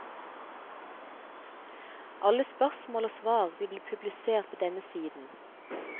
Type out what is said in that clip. Alle spørsmål og svar vil bli publisert på denne siden.